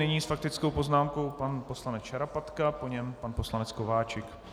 Nyní s faktickou poznámkou pan poslanec Šarapatka, po něm pan poslanec Kováčik.